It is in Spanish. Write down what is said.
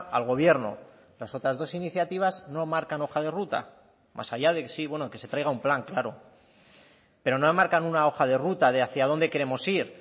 al gobierno las otras dos iniciativas no marcan hoja de ruta más allá de sí bueno que se traiga un plan claro pero no enmarcan una hoja de ruta de hacia dónde queremos ir